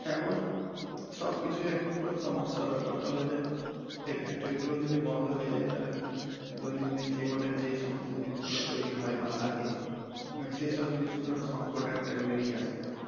সব কিছুই একটু সমস্যার ব্যাপার, তা বলে যে এই factory গুলো ও যদি বন্ধ হয়ে যায় তাহলে দৈনন্দিন জিবনে যে সমস্ত জিনিস গুলো যে তৈরি হয় বা লাগে মানে সেই সব জিনিসগুলোর তো সঙ্কট একটা বেরিয়ে আসবে।